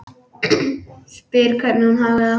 Spyr hvernig hún hafi það.